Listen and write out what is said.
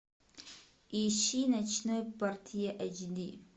ищи ночной портье эйч ди